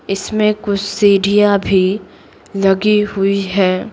इसमें कुछ सीढ़ियां भी लगी हुई है।